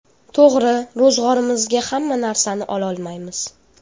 To‘g‘ri, ro‘zg‘orimizga hamma narsani ololmaymiz.